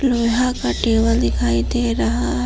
यहां का टेबल दिखाई दे रहा है।